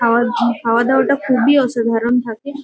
খাওয়ার জি খাওয়া-দাওয়াটা খুবই অসাধারণ থাকে।